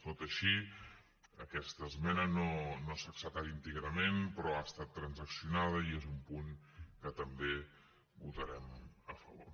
tot i així aquesta esmena no s’ha acceptat íntegrament però ha estat transaccionada i és un punt que també votarem a favor